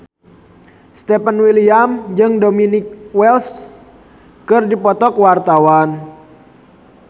Stefan William jeung Dominic West keur dipoto ku wartawan